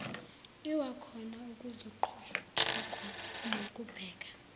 lwakhona kuzoqhutshekwa nokubheka